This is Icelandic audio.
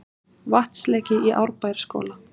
Vatnsleki í Árbæjarskóla